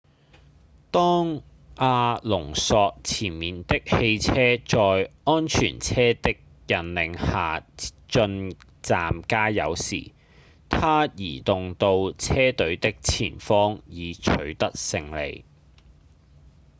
當阿隆索前面的汽車在安全車的引領下進站加油時他移動到車隊的前方以取得勝利